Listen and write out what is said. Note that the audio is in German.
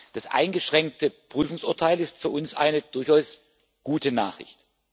Das eingeschränkte Prüfungsurteil ist für uns eine durchaus gute Nachricht.